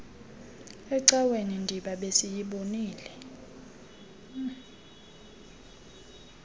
ecaweni ndiba besiyibonile